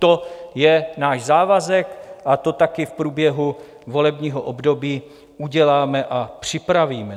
To je náš závazek a to taky v průběhu volebního období uděláme a připravíme.